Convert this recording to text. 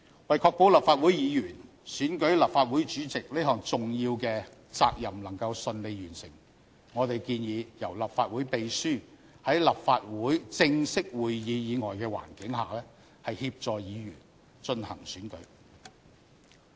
為確保立法會議員選舉立法會主席這項重要的責任能夠順利完成，我們建議由立法會秘書在立法會正式會議以外的環境下協助議員進行選舉。